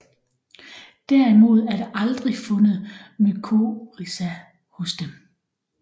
Derimod er der aldrig fundet mycorrhiza hos dem